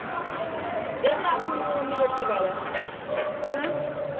ਬੇਬੇ ਆ ਰੋਟੀ ਪਾ ਲਾ